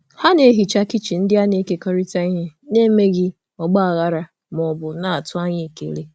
Ha kpochara kichin a na-ekerịta um n’emeghị mkpọtụ ma ọ bụ um tụrụ um anya ekele.